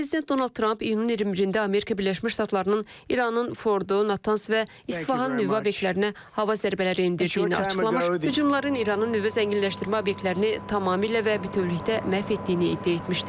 Prezident Donald Tramp iyunun 21-də Amerika Birləşmiş Ştatlarının İranın Fordo, Natans və İsfahan nüvə obyektlərinə hava zərbələri endirdiyini açıqlamış, hücumların İranın nüvə zənginləşdirmə obyektlərini tamamilə və bütövlükdə məhv etdiyini iddia etmişdi.